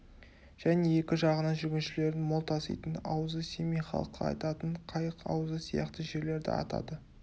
және екі жағының жүргіншілерін мол таситын аузы семей халқы айтатын қайық аузы сияқты жерлерді атады